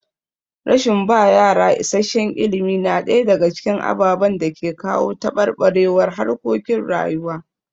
Rashin ba yara isasshen ilimi na ɗaya daga cikin ababen da ke kawo taɓarɓarewar harkokin rayuwa.